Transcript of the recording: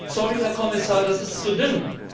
Sorry Herr Kommissar, das ist zu dünn!